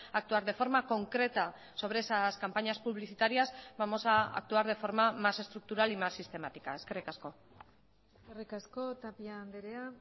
actuar de forma concreta sobre esas campañas publicitarias vamos a actuar de forma más estructural y más sistemática eskerrik asko eskerrik asko tapia andrea